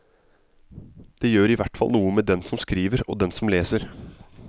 Det gjør i hvert fall noe med den som skriver og den som leser.